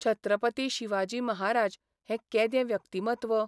छत्रपती शिवाजी महाराज हें केदें व्यक्तिमत्व.